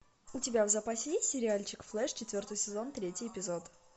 у тебя в запасе есть сериальчик флеш четвертый сезон третий эпизод